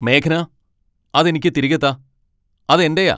മേഘ്ന, അത് എനിക്ക് തിരികെ താ, അത് എന്റെയാ !